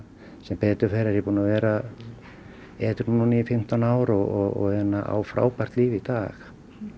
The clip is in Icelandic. sem betur fer er ég búinn að vera edrú í fimmtán ár og á frábært líf í dag